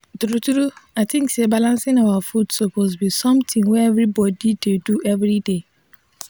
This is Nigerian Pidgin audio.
true true i think say balancing your food suppose be somethin wey everybodi dey do every day